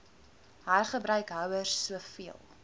hergebruik houers soveel